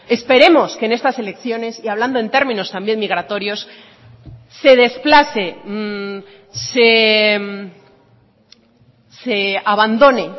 esperemos que en estas elecciones y hablando en términos también migratorios se desplace se abandone